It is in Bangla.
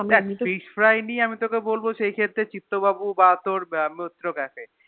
দেখ Fish fry নিয়ে আমি তোকে বলবো সেই ক্ষেত্রে চিত্ত বাবু বা তোর মিত্র Cafe